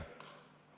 Aeg!